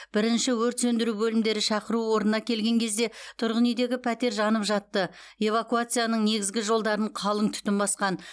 бірінші өрт сөндіру бөлімдері шақыру орнына келген кезде тұрғын үйдегі пәтер жанып жатты эвакуацияның негізгі жолдарын қалың түтін басқан